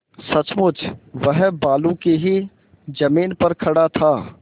सचमुच वह बालू की ही जमीन पर खड़ा था